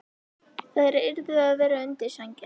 Þær yrðu að vera undir sænginni.